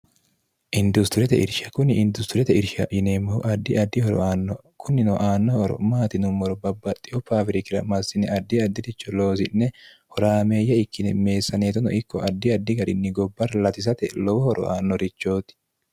industiriyete irsha kunni industiriyete irsha yineemmohu addi addi horo aanno kunni aanno horo maati yinummoro babbaxxiyo faawirikira marsine addi addi'richo loosi'ne horaameeyya ikkine meessaneetono ikko addi addi garinni gobba latisate lowo horo aannorichooti